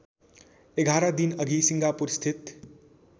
११ दिनअघि सिङ्गापुरस्थित